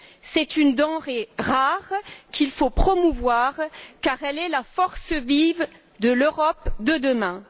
C'est une denrée rare qu'il faut promouvoir car elle est la force vive de l'Europe de demain.